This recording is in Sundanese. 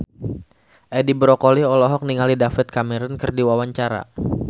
Edi Brokoli olohok ningali David Cameron keur diwawancara